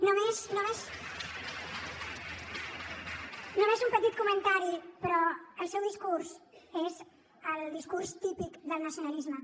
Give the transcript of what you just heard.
només un petit comentari però el seu discurs és el discurs típic del nacionalisme